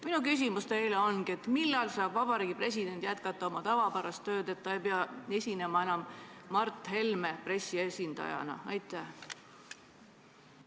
Minu küsimus teile ongi: millal saab president jätkata oma tavapärast tööd, nii et ta ei pea enam Mart Helme pressiesindajana esinema?